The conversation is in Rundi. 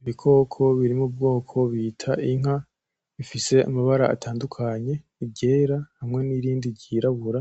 Ibikoko birimwo ubwoko bita inka bifise amabara atandukanye iryera hamwe nirindi ryirabura